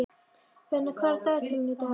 Benna, hvað er á dagatalinu í dag?